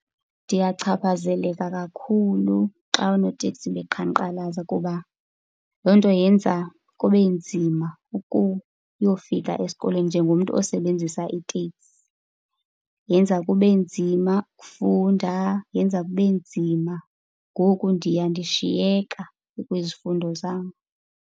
Ndiyachaphazeleka kakhulu xa oonoteksi beqhankqalaza kuba loo nto yenza kube nzima ukuyofika esikolweni njengomntu osebenzisa iteksi. Yenza kube nzima ukufunda, yenza kube nzima. Ngoku ndiya ndishiyeka kwizifundo zam.